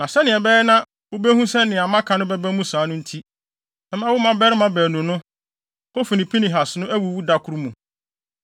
“ ‘Na sɛnea ɛbɛyɛ na wubehu sɛ nea maka no bɛba mu saa no nti, mɛma wo mmabarima baanu no, Hofni ne Pinehas no awuwu da koro mu.